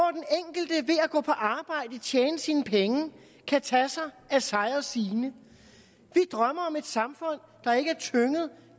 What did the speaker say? tjene sine penge kan tage sig af sig og sine vi drømmer om et samfund